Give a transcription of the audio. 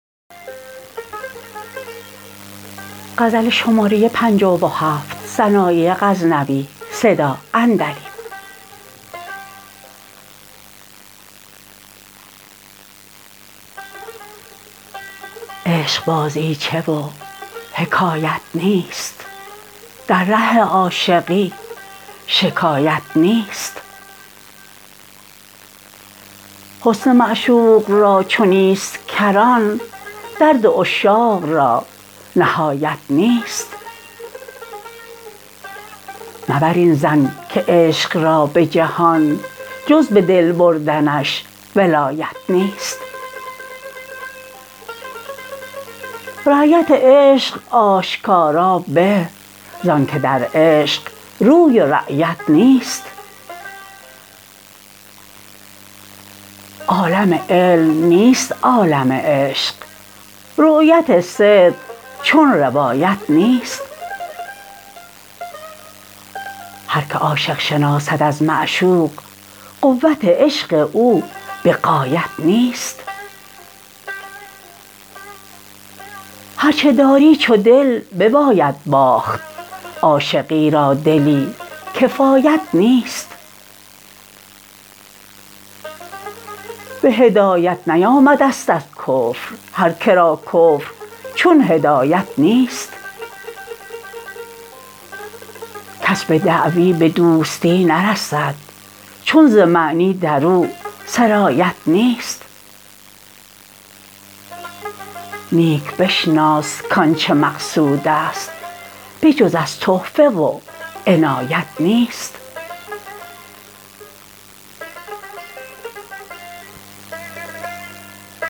عشق بازیچه و حکایت نیست در ره عاشقی شکایت نیست حسن معشوق را چو نیست کران درد عشاق را نهایت نیست مبر این ظن که عشق را به جهان جز به دل بردنش ولایت نیست رایت عشق آشکارا به زان که در عشق روی و رایت نیست عالم علم نیست عالم عشق رؤیت صدق چون روایت نیست هر که عاشق شناسد از معشوق قوت عشق او بغایت نیست هر چه داری چو دل بباید باخت عاشقی را دلی کفایت نیست به هدایت نیامدست از کفر هر کرا کفر چون هدایت نیست کس به دعوی به دوستی نرسد چون ز معنی درو سرایت نیست نیک بشناس کانچه مقصودست بجز از تحفه و عنایت نیست